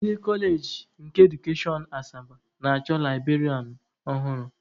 Ndị kọọleji nke edukashọn Asaba na-achọ librarianụ ọhụrụ.